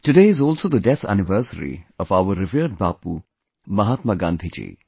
Today is also the death anniversary of our revered Bapu Mahatma Gandhi ji